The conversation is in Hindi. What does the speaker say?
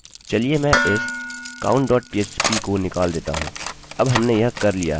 चलिए मैं इस countफ्प को निकाल देता हूँ